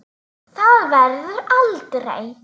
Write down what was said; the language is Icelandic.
Það verður aldrei.